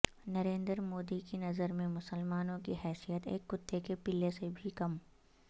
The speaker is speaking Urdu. نریندر مودی کی نظرمیں مسلمانوں کی حیثیت ایک کتے کے پلے سے بھی کم